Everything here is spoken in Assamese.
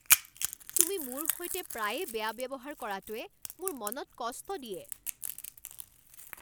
তুমি মোৰ সৈতে প্ৰায়ে বেয়া ব্যৱহাৰ কৰাটোৱে মোৰ মনত কষ্ট দিয়ে।